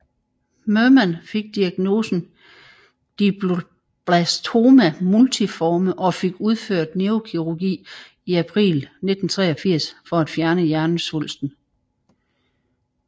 Merman fik diagnosen glioblastoma multiforme og fik udført neurokirurgi i april 1983 for at fjerne hjernesvulsten